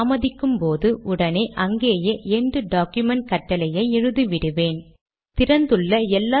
சரி இப்போது itemise environment பற்றி பார்க்கலாம்